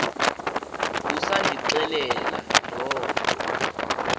busandixelela loo nto